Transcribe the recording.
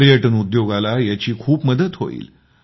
पर्यटन उद्योगाला याची खूप मदत होईल